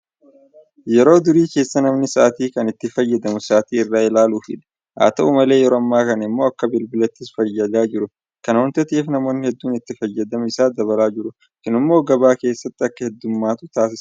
Yeroo durii keessa namni sa'aatii kan itti fayyadamu sa'aatii irraa ilaaluufidha. Haat'u malee yeroo ammaa kana immoo akka bilbilaattis fayyadaa jira. Kana waanta ta'eef namoonni hedduun itti fayyadama isaa dabalaa jiru. Kun immoo gabaa keessatti akka heddummatu taasisaa jira.